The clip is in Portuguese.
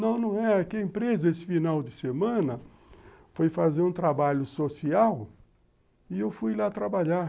Não, não é. Aqui a empresa, esse final de semana, foi fazer um trabalho social e eu fui lá trabalhar.